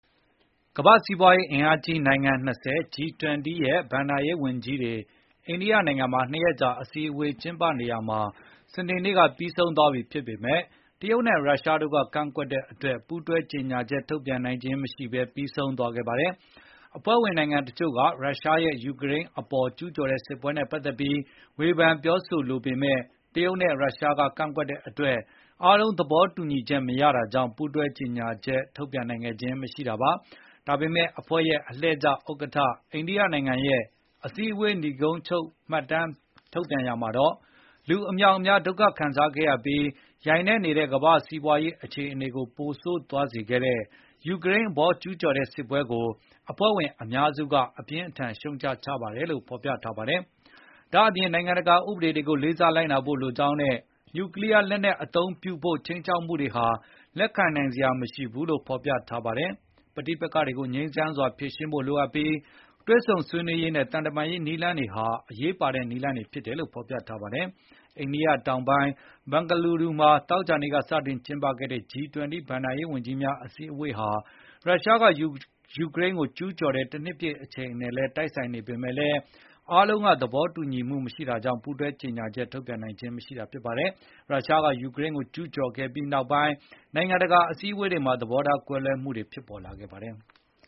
ကမ္ဘာ့စီးပွားရေးအင်အားကြီး နိုင်ငံ ၂၀၊ G-20 ရဲ့ ဘဏ္ဍာရေးဝန်ကြီးတွေအိန္ဒိယနိုင်ငံမှာ ၂ ရက်ကြာအစည်းအဝေးက စနေနေ့မှာပြီးဆုံးသွားပြီဖြစ်ပေမယ့် တရုတ်နဲ့ရုရှားတို့ကကန့်ကွက်တဲ့အတွက် ပူးတွဲကြေညာချက်ထုတ်ပြန်နိုင်ခြင်းမရှိဘဲ ပြီးဆုံးသွားခဲ့ပါတယ်။ အဖွဲ့ဝင်နိုင်ငံတချို့က ရုရှားရဲ့ယူကရိန်းအပေါ် ကျူးကျော်တဲ့စစ်ပွဲနဲ့ ပတ်သက်ပြီး ဝေဖန်ပြောဆိုလိုပေမယ့် တရုတ်နဲ့ရုရှားကကန့်ကွက်တဲ့အတွက် အားလုံးသဘောတူညီချက်မရတာကြောင့် ပူးတွဲကြေညာချက် ထုတ်ပြန်နိုင်ခဲ့ခြင်းမရှိတာပါ။ ဒါပေမယ့် အဖွဲ့ရဲ့လှည့်ကျဥက္ကဋ္ဌ အိန္ဒိယရဲ့အစည်းဝေးနိဂုံးချုပ် မှတ်တမ်းထုတ်ပြန်ရာမှာတော့ လူအမြောက်အများဒုက္ခခံစားခဲ့ရပြီး ယိုင်နည့်နေတဲ့ ကမ္ဘာ့စီးပွားရေးခြေနေကိုပိုဆိုးသွားစေတဲ့ ယူကရိန်းအပေါ်ကျူးကျော်တဲ့စစ်ပွဲကို အဖွဲ့ဝင်အများစုက အပြင်းအထန်ရှုတ်ချကြပါတယ်လို့ ဖေါ်ပြထားပါတယ်။ ဒါ့ပြင် နိုင်ငံတကာဥပဒေတွေကိုလေးစားလိုက်နာဖို့လိုကြောင်းနဲ့ နျူကလီယားလက်နက်အသုံးပြုဖို့ ခြိမ်းခြောက်မှုတွေဟာ လက်ခံနိုင်စရာမရှိဘူးလို့လည်းဖေါ်ပြထားပါတယ်။ ပဋိပက္ခတွေကိုငြိမ်းချမ်းစွာဖြေ ရှင်းဖို့လိုအပ်ပြီး၊ တွေ့ဆုံဆွေးနွေးရေးနဲ့ သံတမန်ရေးနည်းလမ်းတွေဟာ အရေးပါတဲ့နည်းလမ်းတွေဖြစ်တ ယ်လို့ဖေါ်ပြထားပါတယ်။ အိန္ဒိယတောင်ပိုင်း ဘန်ဂလူရူမှာ သောကြာနေ့ကစတင်ကျင်းပခဲ့တဲ့ G-20 ဘဏ္ဍာရေးဝန်ကြီးများအစည်းဝေးဟာ ရုရှားကယူကရိန်းကိုကျူးကျော်တဲ့တနှစ်ပြည့်အချိန်နဲ့တိုက်ဆိုင်နေပေမယ့်လည်း အားလုံး သဘောမတူတာကြောင့် ပူးတွဲကြေညာချက်ထုတ်ပြန်နိုင်ခဲ့ခြင်းမရှိတာပါ။ ရုရှားက ယူကရိန်းကိုကျူးကျော်ခဲ့ပြီးနောက်ပိုင်း နိုင်ငံတကာအစည်းအဝေးတွေမှာ သဘောထားကွဲလွဲမှုတွေဖြစ်ပေါ်လာခဲ့ပါတယ်။